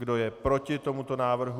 Kdo je proti tomuto návrhu?